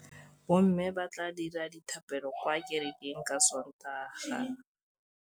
Bommê ba tla dira dithapêlô kwa kerekeng ka Sontaga.